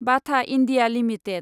बाथा India limited